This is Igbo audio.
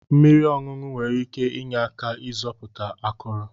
Mmiri ọṅụṅụ nwere ike inye aka ịzọpụta akụrụ.